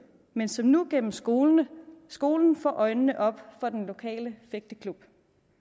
men som nu gennem skolen skolen får øjnene op for den lokale fægteklub